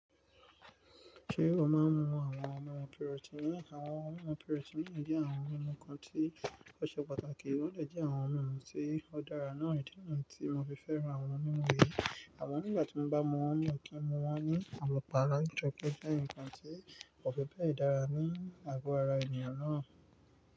Ṣé o máa ń mu àwọn ọmọ pírọ́tíìnì? Àwọn ọmọ pírọ́tíìnì jẹ́ àwọn mímu kan tí ò ṣe pàtàkì, wọ́n jẹ́ àwọn ohun mímu tí ó dára náà nìkan tí mo fi fẹ́ran àwọn mímu yìí. Àmọ nígbà tí mo bá mu wọn mọ̀ kí n mu wọn ní àmupará nitori pé nǹkan tí kò fi bẹ́ẹ̀ dára ní àgọ́ ara ènìyàn náà.